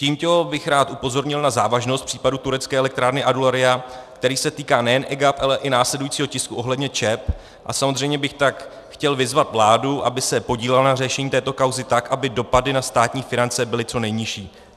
Tímto bych rád upozornil na závažnost případu turecké elektrárny Adularya, který se týká nejen EGAP, ale i následujícího tisku ohledně ČEB, a samozřejmě bych tak chtěl vyzvat vládu, aby se podílela na řešení této kauzy tak, aby dopady na státní finance byly co nejnižší.